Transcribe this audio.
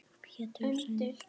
Pétur: Sængað?